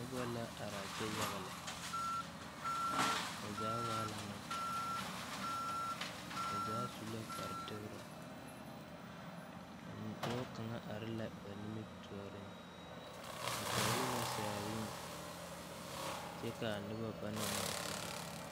Nobɔ la araa kyɛ yaga lɛ bazaa waa la Neŋpeɛɛle ba zaa su la kpare tegrɛ a nidɔɔ kaŋ are ba nimitooreŋ o pɛgle la saaree kyɛ kaa nobɔ banang ngmaagyile oo.